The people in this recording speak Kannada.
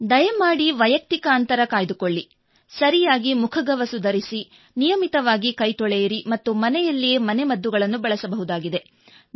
ದಯಮಾಡಿ ವೈಯಕ್ತಿಕ ಅಂತರ ಕಾಯ್ದುಕೊಳ್ಳಿ ಸರಿಯಾಗಿ ಮುಖಗವಸು ಧರಿಸಿ ನಿಯಮಿತವಾಗಿ ಕೈತೊಳೆಯಿರಿ ಮತ್ತು ಮನೆಯಲ್ಲಿಯೇ ಮನೆಮದ್ದುಗಳನ್ನು ಬಳಸಬಹುದಾಗಿದೆ